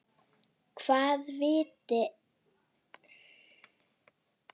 Hvað vita þeir mikið?